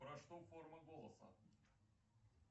про что форма голоса